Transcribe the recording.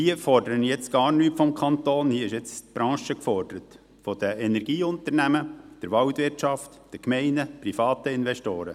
Hier fordere ich gar nichts vom Kanton, hier ist jetzt die Branche gefordert, die Energieunternehmen, die Waldwirtschaft, die Gemeinden, private Investoren.